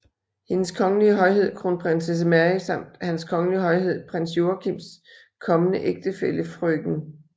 Hendes Kongelige Højhed Kronprinsesse Mary samt Hans Kongelige Højhed Prins Joachims kommende ægtefælle frk